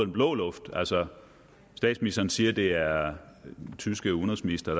blå luft altså statsministeren siger at det er den tyske udenrigsminister